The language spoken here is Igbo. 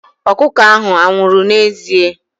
Ọkụkọ ahụ anwụrụ n'ezie?